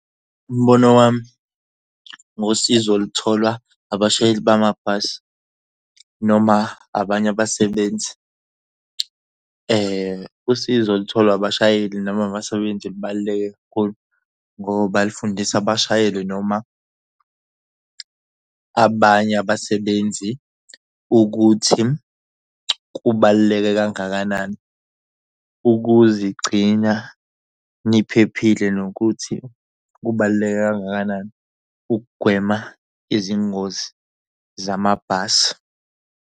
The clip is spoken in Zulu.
Umbono wami ngosizo olutholwa abashayeli bamabhasi noma abanye abasebenzi. Usizo olutholwa abashayeli noma abasebenzi lubaluleke kakhulu ngoba lifundisa abashayeli noma abanye abasebenzi ukuthi kubaluleke kangakanani ukuzigcina niphephile nokuthi kubaluleke kangakanani ukugwema izingozi zamabhasi.